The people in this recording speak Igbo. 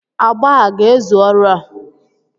agba a ga-ezu ọrụ a?